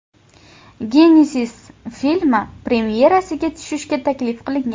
Genezis” filmi premyerasiga tushishga taklif qilingan.